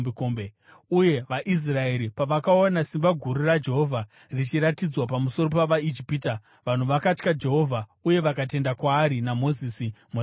Uye vaIsraeri pavakaona simba guru raJehovha richiratidzwa pamusoro pavaIjipita, vanhu vakatya Jehovha uye vakatenda kwaari naMozisi muranda wake.